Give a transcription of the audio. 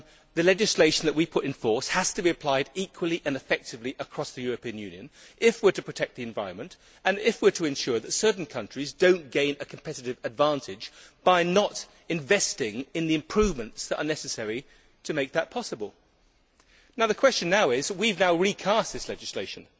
The legislation that we put in force has to be applied equally and effectively across the European Union if we are to protect the environment, and if we are to ensure that certain countries do not gain a competitive advantage by not investing in the improvements that are necessary to make that possible. The question is that we have now recast this legislation.